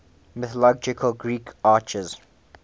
mythological greek archers